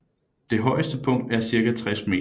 Det højeste punkt er cirka 60 meter